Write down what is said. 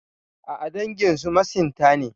A'a, danginsu masinta ne.